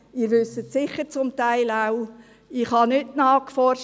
Sie wissen es sicher zum Teil auch, ich habe nicht nachgeforscht.